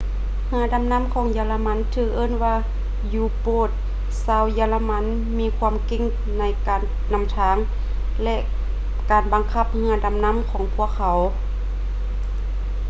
ເຮືອດໍານໍ້າຂອງເຢຍລະມັນຖືກເອີ້ນວ່າ u-boats ຊາວເຢຍລະມັນມີຄວາມເກັ່ງໃນການນຳທາງ ແລະ ການບັງຄັບເຮືອດໍານໍ້າຂອງພວກເຂົາ